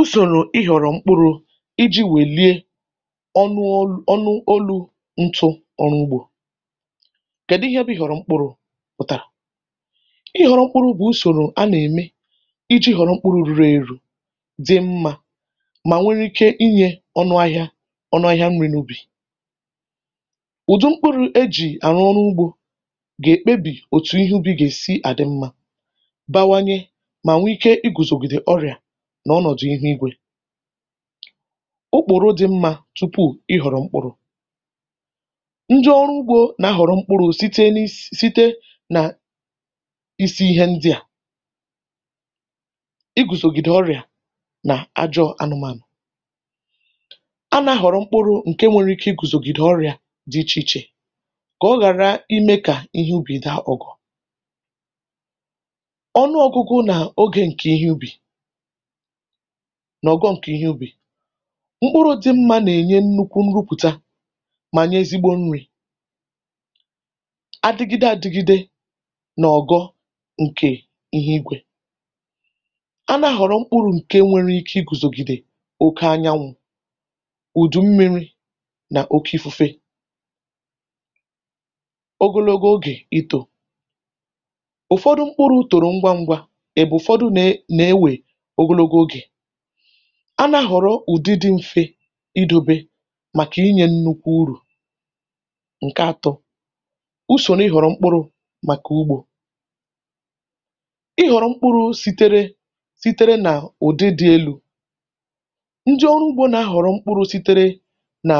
Usòrò ịhọrọ̀ mkpụrụ iji̇ wèliė ọnụ ọ̀lụ̀ ọnụ olú ntụ̇ ọrụ ugbȯ. Kèdụ ihẹ bụ ihòrọ mkpụrụ pụtàrà? Ịhòrọ mkpụrụ bụ̀ usòrò a nà ème iji̇ họrọ̀ mkpuru̇ ruru̇ èru̇, dị mmȧ mà nwéré ike inyė ọnụ ahịȧ ọnụ ahịȧ nri̇ n’ubì. Ụdị mkpụrụ e jì àrụ ọrụ ugbȯ gà-èkpebì òtù ihe ubì gà-èsi à dị mmȧ, bawanye mà nwe ike i gùzògìdè ọrịà n'ọnọdụ ihu ígwē. Ụ́kpụ̀rụ̀ dị mmȧ tupu ịhọrọ mkpụrụ̇ Ndị ọrụ ugbo nà-ahọrọ mkpụrụ̇ site n'is site nà isi ihe ndị à igùzògìdè ọrịa nà ajọ̇ anụmànụ.̀ A nà-ahọrọ̀ mkpụrụ̇ ǹke nwere ike igùzògìdè ọrịa dị ichè ichè kà ọ ghàra imė kà ihe ubì daa .̀ Ọnụọgụgụ nà oge ǹkè ihe ubì n'ọ̀gọ̀ ǹkè ihe ubì, mkpụrụ̇ dị̇ mmȧ nà-ènye nnukwu̇ nrupụta mà nye ezigbo nri̇ adịgide adịgide n'ọgọ̇ ǹkè ihu igwė. A nȧ-ahọrọ mkpụrụ̇ ǹke nwere ike igùzògìdè oke anyanwụ̇, ùdù mmiri̇ nà oke ífúfé ogologo ogè itȯ. Ụfọdụ mkpụrụ̇ torù̀ ngwa ngwa, ebe ụfọdụ na e na-ewe ogologo oge. A na-ahọrọ ụdị dị mfe idu̇bė màkà ịnyė nnukwu urù. Nke atọ, usòro ịhọrọ̀mkpụrụ màkà ugbȯ. Ịhọrọ̀ mkpụrụ sitere sitere nà ụdị dị̇ elú, ndị ọrụ ugbō na-ahọrọ mkpụrụ sitere nà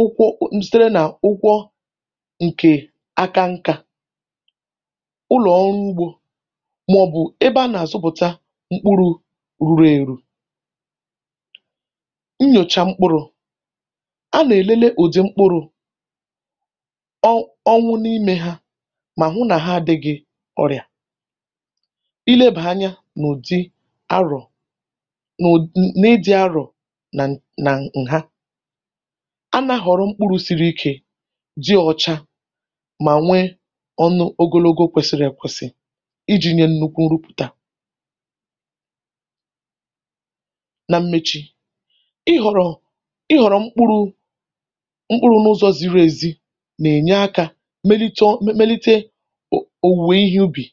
ụkwụ nsitere nà ụkwọ ǹkè aka nkȧ ụlọ ọrụ ugbȯ màọbụ ebe a nà àzụpụta mkpụrụ̇ ruru eru. Nnyòcha mkpụrụ̇, a nà-èlele ụdị mkpụrụ̇ ọnwụ n’imė ha mà hụ nà ha àdịgị ọrịa. Ilebàhȧ anya n’ụdi arọ̀n'ud n’ịdị arọ̀nà ǹha. A nȧ-ahọrọ mkpụrụ̇ siri ikė, dị ọcha mà nwee ọnụ ogologo kwesịrị kwesị̀iji̇ nye nnukwu nrupụta. Nà mmechi, ịhọrọ ịhọrọ mkpụrụ mkpụrụ̇ n’ụzọ̇ ziri èzi nà-ènye akȧ melite ọ melite um òwùwè ihe ubì,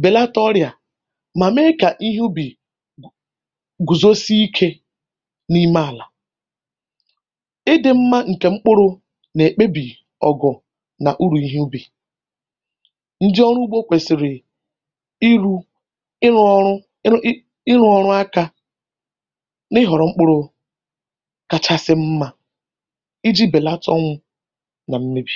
bèlata ọrịa mà mee kà ihe ubì gùzosi ikė n’ime àlà. Ịdị̇ mmȧ ǹkè mkpụrụ nà-èkpebì ọgọ̀nà urù ihe ubì. Ndị ọrụ úgbō kwèsịrị ịru̇ ịrụ̇ ọrụ ịrụ ịrụ ọrụ aka n’ịhọrọ̀ mkpụrụ kàchàsị mma iji̇ bèlàtà ọnwù nà mmebì.